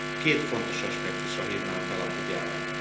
Két fontos aspektusra hívnám fel a figyelmet.